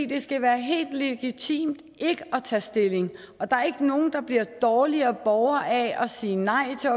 det skal være helt legitimt ikke at tage stilling der er ikke nogen der bliver dårligere borgere af at sige nej til